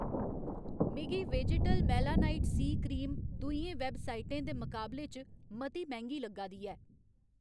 मिगी vegetal melanite C cream दूइयें वैबसाइटें दे मकाबले च मती मैंह्‌गी लग्गा दी ऐ।